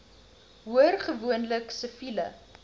hoor gewoonlik siviele